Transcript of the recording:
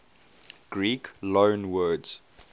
greek loanwords